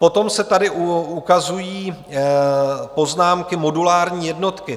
Potom se tady ukazují poznámky - modulární jednotky.